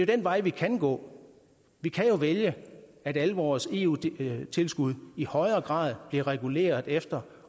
den vej vi kan gå vi kan jo vælge at alle vores eu tilskud i højere grad bliver reguleret efter